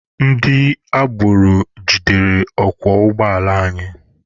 Ndị agboro jidere ọkwọ ụgbọala anyị.